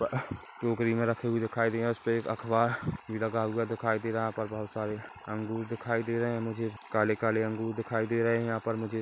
पा टोकरी में रखीं हुई दिखाई दे उसपे एक अख़बार लगा हुआ दिखाई दे रहा है यहाँ पर बहोत सारे अंगूर दिखाई दे रहे है मुझे काले-काले अंगूर दिखाई दे रहे है यहाँ पर मुझे--